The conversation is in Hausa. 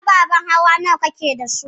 Ababen hawa nawa kake da su?